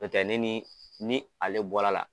Nɔtɛ ne ni ni ale bɔla la.